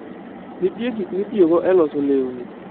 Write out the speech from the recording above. Nitie gik mitiyogo e loso lewni.